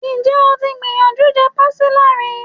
Ǹjẹ́ o ti gbìyànjú je Pastilla rí?